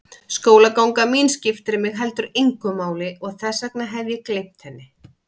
Skólaganga mín skiptir mig heldur engu máli og þess vegna hef ég gleymt henni.